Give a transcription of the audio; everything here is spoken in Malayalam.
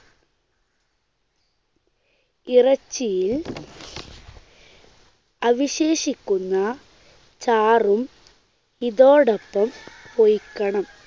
ഇറച്ചിയിൽ അവിശേഷിക്കുന്ന ചാറും ഇതോടൊപ്പം ഒഴിക്കണം.